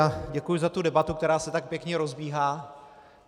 A děkuji za tu debatu, která se tak pěkně rozbíhá.